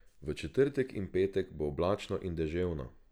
V četrtek in petek bo oblačno in deževno.